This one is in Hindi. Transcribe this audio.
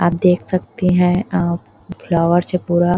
आप देख सकते है अ फ्लावर्स है पूरा--